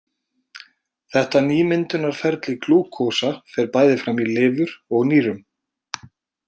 Þetta nýmyndunarferli glúkósa fer bæði fram í lifur og nýrum.